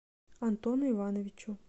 антону ивановичу